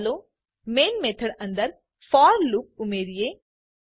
ચાલો main method અંદર for loop ઉમેરીએ